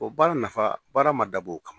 O baara nafa baara ma dab'o kama.